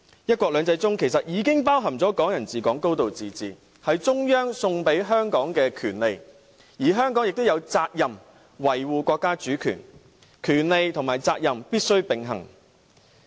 "一國兩制"其實已經包含"港人治港"、"高度自治"，這是中央送給香港的權利，而香港也有責任維護國家主權，權利和責任必須並行。